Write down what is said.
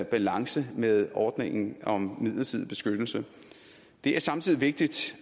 balance med ordningen om midlertidig beskyttelse det er samtidig vigtigt